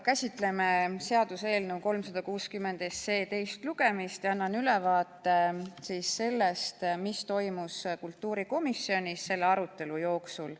Käsitleme seaduseelnõu 360 teist lugemist ja annan ülevaate sellest, mis toimus kultuurikomisjonis selle arutelu jooksul.